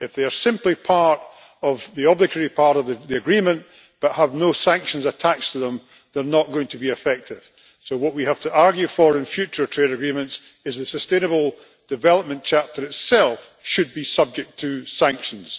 If they are simply the obligatory part of the agreement, but have no sanctions attached to them, they are not going to be effective, so what we have to argue for in future trade agreements is that the Sustainable Development Chapter itself should be subject to sanctions.